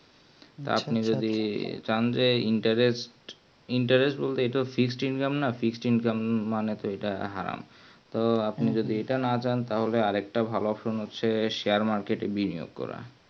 আপনি যদি জানলে interest বলতে এটা Fixed Income না Fixed Income বলতে হারাম তো আপনি যদি একটা না চান একটা ভালো Offer হচ্ছে Share market এ Bigness করুন